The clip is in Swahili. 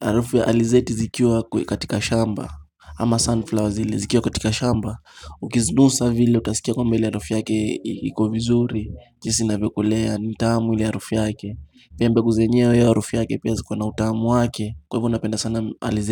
Harufu ya alizeti zikiwa katika shamba Ama sunflowers hili zikiwa katika shamba Ukizunusa vile utasikia kwamba ile harufu yake iko vizuri jinsi inavyokolea nitamu ile harufu yake Pia mbegu zenyewe harufu yake pia ziko na utamu wake Kwa hivyo ninapenda sana alizeti.